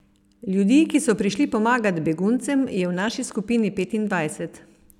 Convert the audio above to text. Ljudi, ki so prišli pomagat beguncem, je v naši skupini petindvajset.